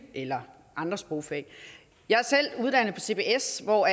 eller andre sprogfag jeg er selv uddannet på cbs hvor